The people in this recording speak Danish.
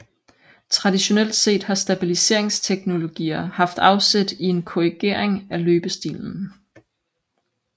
Traditionelt set har stabiliseringsteknologier haft afsæt i en korrigering af løbestilen